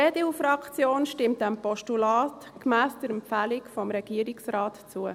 Die EDU-Fraktion stimmt diesem Postulat gemäss der Empfehlung des Regierungsrates zu.